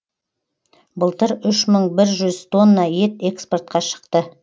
былтыр үш мың бір жүз тонна ет экспортқа шықты